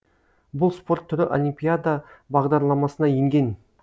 бұл спорт түрі олимпиада бағдарламасына енген